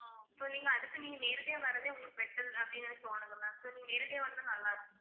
So நீங்க அடுத் து நீங்க நேரடியா வரதே உங்களுக்கு better அப்படின்னு எனக்கு தோணுது ma'am so நீங்க நேரடியா வந்தா நல்லா இருக்கும்